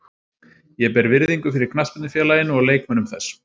Ég ber virðingu fyrir knattspyrnufélaginu og leikmönnum þess.